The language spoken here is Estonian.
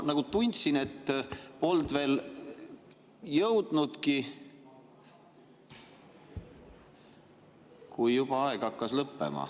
Ma nagu tundsin, et polnud veel jõudnud alustadagi, kui juba aeg hakkas lõppema.